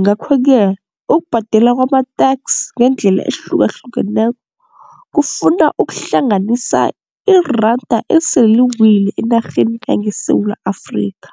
Ngakho-ke ukubhadela kwama-tax ngeendlela ezihlukahlukeneko kufuna ukuhlanganisa iranda esele liwile enarheni yangeSewula Afrikha.